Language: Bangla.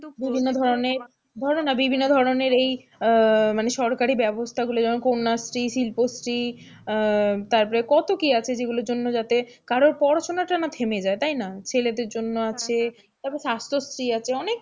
বিভিন্ন ধরনের, ধরো না বিভিন্ন ধরনের এই মানে সরকারি ব্যবস্থাগুলো যেমন কন্যাশ্রী, শিল্পশ্রী আহ তারপরে কত কি আছে যেগুলোর জন্য যাতে কারো পড়াশোনা টা না থেমে যায় তাই না ছেলেদের জন্য আছে তারপরে স্বাস্থ্যশ্রী আছে অনেক,